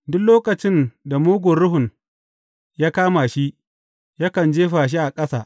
Duk lokacin da mugun ruhun ya kama shi, yakan jefa shi a ƙasa.